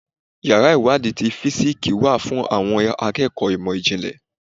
Yàrá ìwádìí ti físíksì wà fún àwọn akẹ́kọ̀ọ́ ìmọ̀ ìjìnlẹ̀.